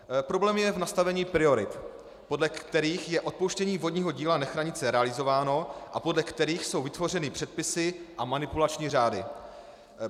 Problém je v nastavení priorit, podle kterých je odpouštění vodního díla Nechranice realizováno a podle kterých jsou vytvořeny předpisy a manipulační řády.